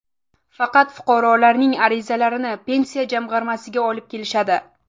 Faqat fuqarolarning arizalarini pensiya jamg‘armasiga olib kelishadi.